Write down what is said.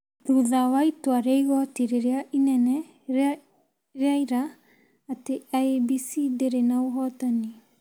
thutha wa itua rĩa igoti rĩrĩa inene rĩa ira atĩ IEBC ndĩrĩ na ũhotani.